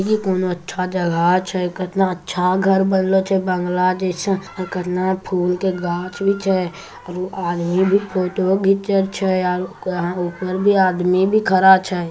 ये कोनो अच्छा जगह छे कितना अच्छा घर बनेल छे बंगला और कितना फुल के गाछ भी छे और आदमी भी फोटो खिचे छे अन के औरा ऊपर भी आदमी भी खड़ा छे।